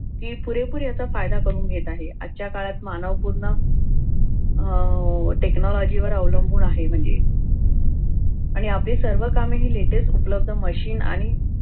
ती पुरेपूर याचा फायदा करून घेत आहे आजच्या काळात मानव पूर्ण अह technology वर अवलंबून आहे म्हणजे आणि आपली सर्व कामे latest उपलब्ध मशीन आणि